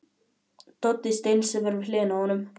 Doddi steinsefur við hliðina á honum.